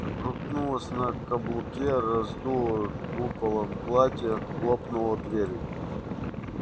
крутнулась на каблуке раздула куполом платье хлопнула дверь